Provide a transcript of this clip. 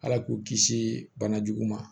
Ala k'u kisi bana jugu ma